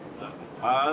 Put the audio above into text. Hə, o Laçından.